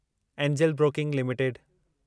angel Broking limited